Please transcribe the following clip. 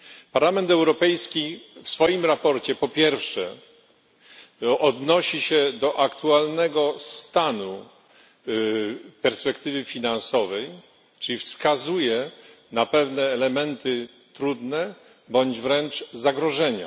Parlament Europejski w swoim sprawozdaniu, po pierwsze, odnosi się do aktualnego stanu perspektywy finansowej, czyli wskazuje na pewne elementy trudne bądź wręcz zagrożenia.